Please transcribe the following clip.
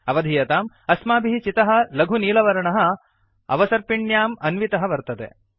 अवधीयताम् अस्माभिः चितः लघुनीलवर्णः अवसर्पिण्याम् अन्वितः वर्तते